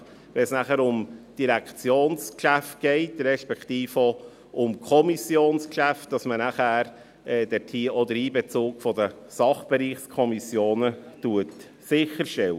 Wenn es dann um die Direktionsgeschäfte geht, beziehungsweise um Kommissionsgeschäfte, wird man selbstverständlich den Einbezug der Sachbereichskommissionen sicherstellen.